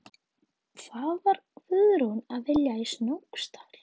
Hvað var Guðrún að vilja í Snóksdal?